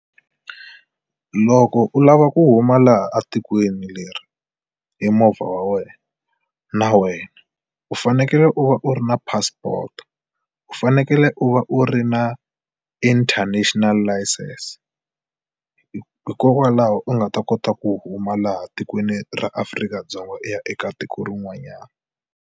Loko u lava ku huma laha a tikweni leri hi movha wa wena na wena u fanekele u va u ri na passport. U fanekele u va u ri na international license hikokwalaho u nga ta kota ku huma laha tikweni ra Afrika-Dzonga u ya eka tiko rin'wanyana.